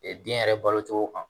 den yɛrɛ balo cogo kan